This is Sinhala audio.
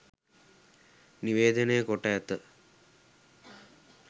නිවේදනය කොට ඇත